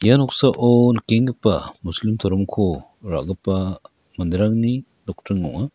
ia noksao nikenggipa muslim toromko ra·gipa manderangni nokdring ong·a.